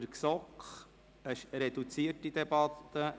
Wir führen eine reduzierte Debatte.